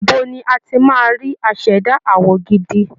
Ibo ni a ti máa rí aṣẹ̀dá àwọ̀ gidi?